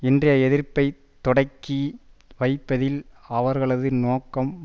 இன்றைய எதிர்ப்பை தொடக்கி வைப்பதில் அவர்களது நோக்கம்